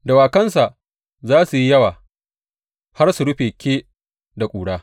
Dawakansa za su yi yawa har su rufe ke da ƙura.